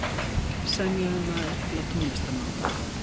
Semja um að efla tónlistarnám